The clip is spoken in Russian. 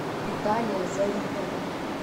виталия зарипова